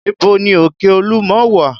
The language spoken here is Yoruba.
Ibo ni òkè olúmọ wà?